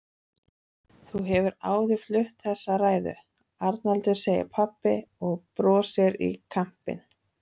Þú hefur áður flutt þessa ræðu, Arnaldur, segir pabbi og brosir í kampinn.